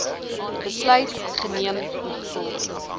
besluit geneem ingevolge